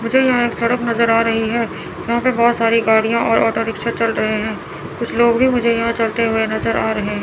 मुझे यहाँ एक सड़क नज़र आ रही है यहाँ पे बहुत सारी गाड़िया और ऑटोरिक्शा चल रहे है कुछ लोग भी मुझे यहाँ चलते हुए नजर आ रहे --